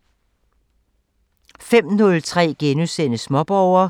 05:03: Småborger *(tir) 05:30: Naturen kalder *(tir)